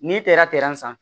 N'i taara san